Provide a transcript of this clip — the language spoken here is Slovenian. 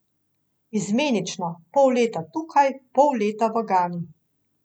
Izmenično, pol leta tukaj, pol leta v Gani.